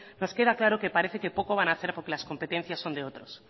nos queda claro que parece que poco van a hacer porque las competencias son de otros